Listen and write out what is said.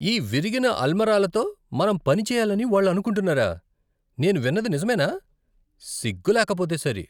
ఈ విరిగిన అల్మారాలతో మనం పని చేయాలని వాళ్ళు అనుకుంటున్నారా! నేను విన్నది నిజమేనా? సిగ్గులేకపోతే సరి.